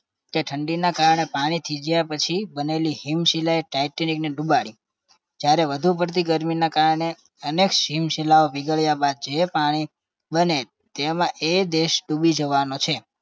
કે ઠંડીના કારણે પાણી થીજ્યા પછી બનેલી હિમશીલા એ ટાઈટેનીકને ડુબાડી જયારે વધુ પડતી ગરમીના કારણે અનેક હિમશીલા પીગળ્યા બાદ જે પાણી બને તેમાં એ દેશ ડૂબી જવાનો છે